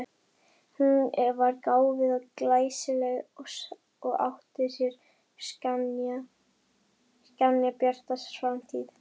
Hún var gáfuð og glæsileg og átti sér skjannabjarta framtíð.